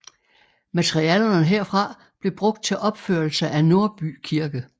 Materialerne herfra blev brugt til opførelse af Nordby Kirke